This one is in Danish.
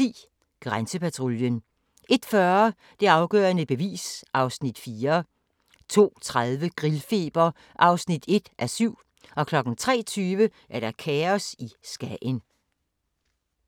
01:10: Grænsepatruljen 01:40: Det afgørende bevis (Afs. 4) 02:30: Grillfeber (1:7) 03:20: Kaos i Skagen